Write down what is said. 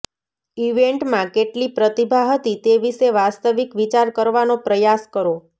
ઇવેન્ટમાં કેટલી પ્રતિભા હતી તે વિશે વાસ્તવિક વિચાર કરવાનો પ્રયાસ કરો